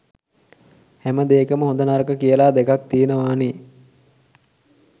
හැමදේකම හොඳ නරක කියලා දෙකක් තියෙනවානේ.